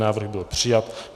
Návrh byl přijat.